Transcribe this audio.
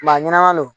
Maa ɲanama don